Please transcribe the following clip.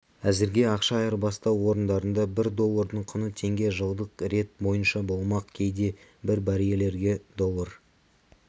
әзірге ақша айырбастау орындарында бір доллардың құны теңге жылдық рет бойынша болмақ кейде бір баррельге доллар